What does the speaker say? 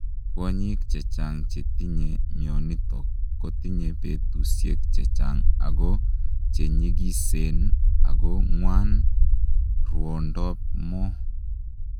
Kwonyiik chechang chetinye mionitok kotinyee petusiek chechang ako chenyigiseen ako ngwan rwondop moo.